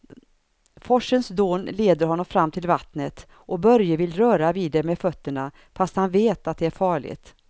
Forsens dån leder honom fram till vattnet och Börje vill röra vid det med fötterna, fast han vet att det är farligt.